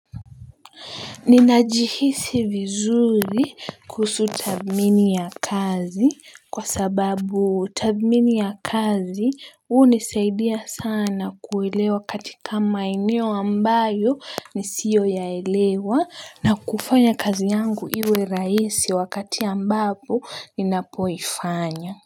Ninajihisi vizuri kuhusu tathmini ya kazi kwa sababu tathmini ya kazi hunisaidia sana kuelewa katika maeneo ambayo nisiyoyaelewa na kufanya kazi yangu iwe rahisi wakati ambapo ninapoifanya.